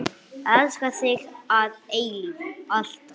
Elska þig að eilífu, alltaf.